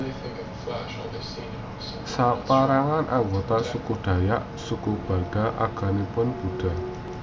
Saperangan anggota suku Dayak Dusun Balangan agamanipun Buddha